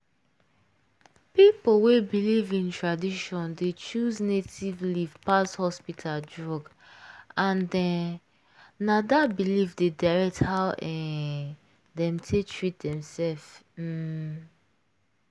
people wey believe in tradition dey choose native leaf pass hospital drug and um na dat belief dey direct how um dem take treat themself. um